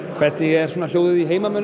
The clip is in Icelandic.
hvernig er hljóðið í heimamönnum